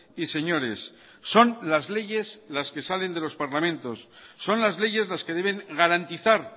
y señores son las leyes las que salen de los parlamentos son las leyes las que deben garantizar